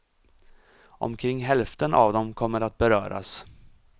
Omkring hälften av dem kommer att beröras.